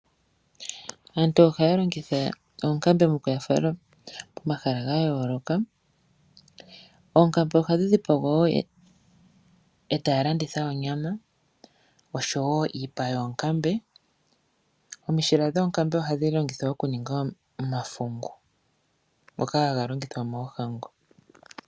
Aantu ohaya longitha oonkambe mokuya fala komahala ga yooloka. Oonkambe ohadhi dhi pagwa wo etaya landitha onyama oshowo iipa yoonkambe. Omishila dhoonkambe ohadhi longithwa okuninga omafungu ngoka haga longithwa moohango.